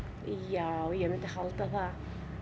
já ég myndi halda það